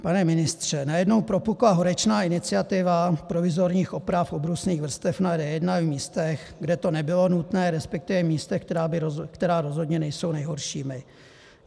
Pane ministře, najednou propukla horečná iniciativa provizorních oprav obrusných vrstev na D1 v místech, kde to nebylo nutné, respektive místech, která rozhodně nejsou nejhoršími.